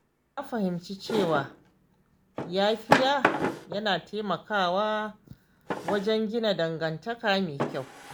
Na fahimci cewa yafiya yana taimakawa wajen gina dangantaka mai kyau.